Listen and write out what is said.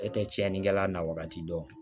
E tɛ tiɲɛnikɛla na wagati dɔn